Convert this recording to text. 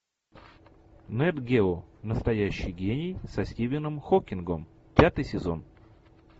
нат гео настоящий гений со стивеном хокингом пятый сезон